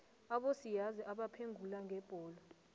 abosiyazi abaphengula ngebholo